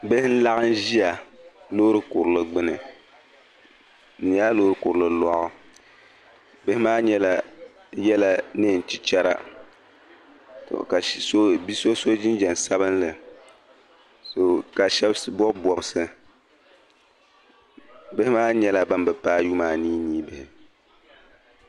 Bihi n-laɣim ʒia loori kurili gbini. Di nyɛla loori kurili lɔɣu. Bihi maa yɛla neen' chichara tɔ ka bi' so so jinjam sabilinli tɔ ka shɛba bɔbi bɔbisi. Bihi maa nyɛla bam bi paagi yuma aniinii bihi.